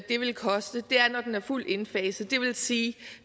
det vil koste er når den er fuldt indfaset og det vil sige